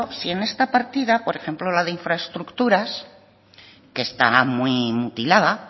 si en esta partida por ejemplo la de infraestructuras que está muy mutilada